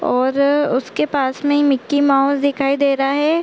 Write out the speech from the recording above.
और रर उसके पास में मिक्की माउस दिखाई दे रहा हैं ।